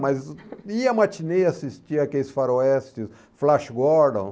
Mas ia ao matinê, assistia aqueles faroestes, Flash Gordon.